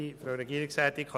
Ich nehme es vorweg: